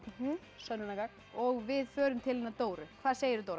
sönnunargagn og við förum til hennar Dóru hvað segirðu Dóra